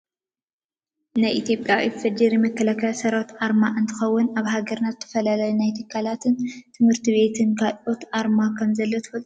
ናይ ኢትዮጵያ ኢፌዲሪ መከላከያ ሰራዊት ኣርማ እንትከውን ኣብ ሃገርና ዝተፈላለዩ ናይ ትካላትን ትምህርቲ ቤትን ካልኦትን ኣርማ ከምዘለው ትፈልጡ ዶ ?